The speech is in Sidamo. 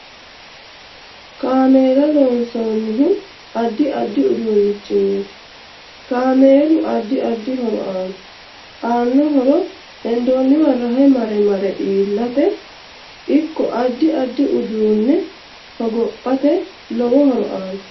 Kaameela loonsanihu addi addi uduunichiniiti kaameel addi addi horo aanno aano horo hendooniwa rahe mare mare iilate ikko addi addi uduune hogophate lowo horo aanno